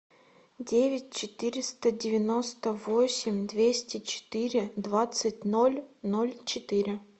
девять четыреста девяносто восемь двести четыре двадцать ноль ноль четыре